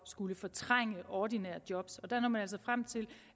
skulle fortrænge ordinære job der når man altså frem til